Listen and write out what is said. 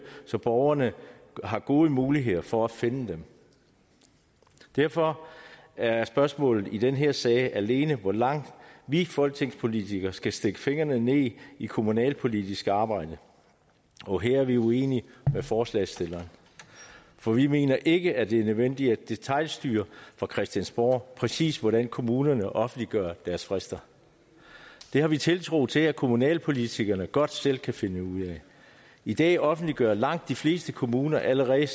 så borgerne har gode muligheder for at finde dem derfor er spørgsmålet i den her sag alene hvor langt vi folketingspolitikere skal stikke fingrene ned i det kommunalpolitiske arbejde og her er vi uenige med forslagsstillerne for vi mener ikke at det er nødvendigt at detailstyre fra christiansborg præcis hvordan kommunerne offentliggør deres frister det har vi tiltro til at kommunalpolitikerne godt selv kan finde ud af i dag offentliggør langt de fleste kommuner allerede